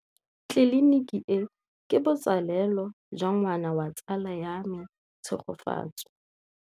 Tleliniki e, ke botsalêlô jwa ngwana wa tsala ya me Tshegofatso.